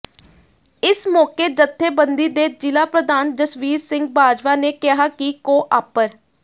ਇਸ ਮੌਕੇ ਜੱਥੇਬੰਦੀ ਦੇ ਜ਼ਿਲ੍ਹਾ ਪ੍ਰਧਾਨ ਜਸਵੀਰ ਸਿੰਘ ਬਾਜਵਾ ਨੇ ਕਿਹਾ ਕਿ ਕੋ ਆਪ੍ਰ